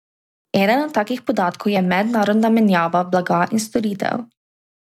Eden od takih podatkov je mednarodna menjava blaga in storitev.